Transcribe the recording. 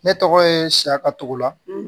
Ne tɔgɔ ye siyakatugula